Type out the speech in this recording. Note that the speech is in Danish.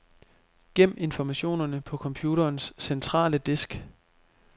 Gem informationerne på computerens centrale disk.